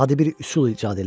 Adi bir üsul icad elə.